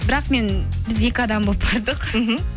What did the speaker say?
бірақ мен біз екі адам болып бардық мхм